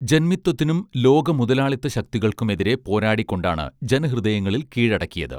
ജൻമിത്തത്തിനും ലോകമുതലാളിത്ത ശക്തികൾക്കും എതിരെ പോരാടിക്കൊണ്ടാണ് ജനഹൃദയങ്ങളിൽ കീഴടക്കിയത്